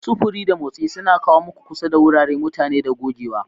Sufuri da motsi suna kawo mu kusa da wurare, mutane, da gogewa.